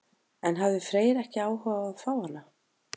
En hafði Freyr ekki áhuga á að fá hana?